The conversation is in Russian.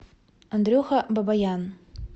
андрюха бабаян